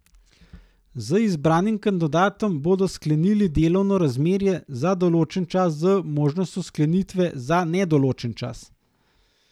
Z izbranim kandidatom bodo sklenili delovno razmerje za določen čas z možnostjo sklenitve za nedoločen čas.